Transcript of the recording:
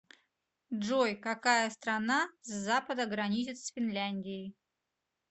джой какая страна с запада граничит с финляндией